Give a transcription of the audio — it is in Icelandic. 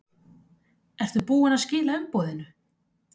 Ertu búinn að skila umboðinu?